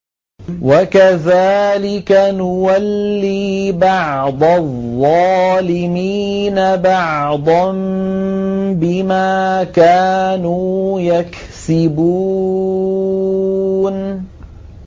وَكَذَٰلِكَ نُوَلِّي بَعْضَ الظَّالِمِينَ بَعْضًا بِمَا كَانُوا يَكْسِبُونَ